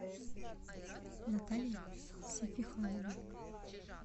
наталья сефиханова